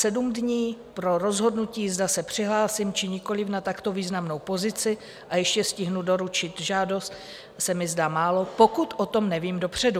Sedm dní pro rozhodnutí, zda se přihlásím, či nikoliv na takto významnou pozici a ještě stihnu doručit žádost, se mi zdá málo, pokud o tom nevím dopředu.